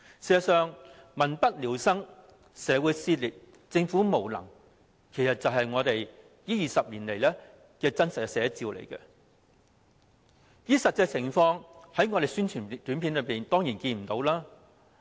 事實上，"民不聊生、社會撕裂、政府無能"，就是這20年來的真實寫照，而在宣傳短片中，當然看不到實際情況。